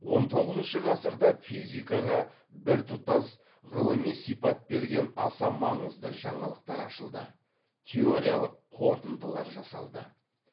он тоғызыншы ғасырда физикаға біртұтас ғылыми сипат берген аса маңызды жаңалықтар ашылды теориялық қорытындылар жасалды